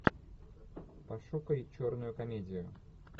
пошукай черную комедию